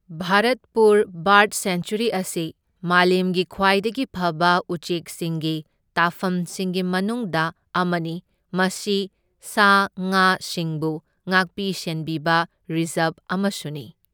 Bharatpur bird sanctuary ꯑꯁꯤ ꯃꯥꯂꯦꯝꯒꯤ ꯈ꯭ꯋꯥꯢꯗꯒꯤ ꯐꯕ ꯎꯆꯦꯛꯁꯤꯡꯒꯤ ꯇꯥꯐꯝꯁꯤꯡꯒꯤ ꯃꯅꯨꯡꯗ ꯑꯃꯅꯤ, ꯃꯁꯤ ꯁꯥ ꯉꯥ ꯁꯤꯡꯕꯨ ꯉꯥꯛꯄꯤ ꯁꯦꯟꯕꯤꯕ ꯔꯤꯖꯥꯔꯚ ꯑꯃꯁꯨꯅꯤ꯫